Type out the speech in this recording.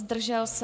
Zdržel se?